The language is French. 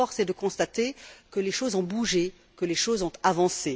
Force est de constater que les choses ont bougé, que les choses ont avancé.